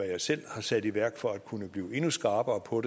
jeg selv har sat i værk for at kunne blive endnu skarpere på